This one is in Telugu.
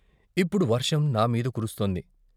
ఇప్పుడు వర్షం నామీద కురుస్తోంది.